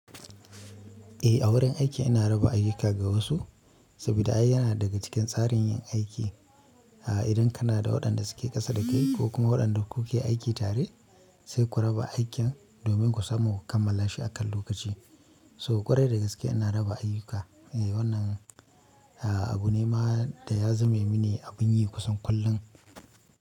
Eh, a wurin aiki ina raba ayuka ga wasu, saboda ai yana daga cikin tsarin yin aiki. Idan kana da waɗanda suke ƙasa da kai ko kuma waɗanda kuke aiki tare sai ku raba aikin domin ku samu kammala shi akan lokaci. So ƙwarai da gaske ina raba ayuka. Wannan abu ne ma da ya zame mini abun yi kusan kullum.